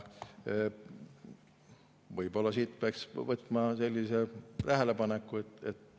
Võib-olla peaks ühe tähelepaneku.